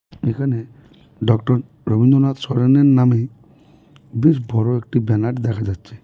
এখানে ডক্টর রবীন্দ্রনাথ সরনের নামে বেশ বড় একটি ব্যানার দেখা যাচ্ছে.